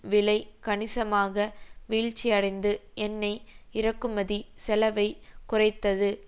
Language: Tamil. விலை கணிசமாக வீழ்ச்சிடைந்து எண்ணெய் இறக்குமதி செலவை குறைத்தது